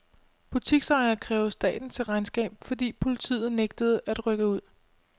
Butiksejere kræver staten til regnskab, fordi politiet nægtede at rykke ud.